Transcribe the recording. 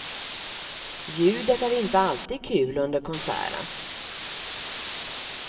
Ljudet är inte alltid kul under konserten.